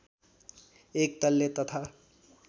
एक तले तथा